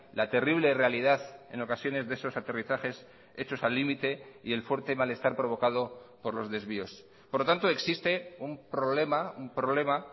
la terrible realidad en ocasiones de esos aterrizajes hechos al límite y el fuerte malestar provocado por los desvíos por lo tanto existe un problema un problema